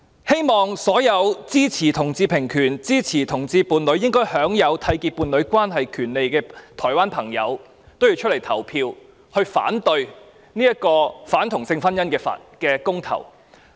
希望所有支持同志平權，支持同志伴侶應享有締結伴侶關係權利的台灣朋友均踴躍投票，反對這項反同性婚姻的公投。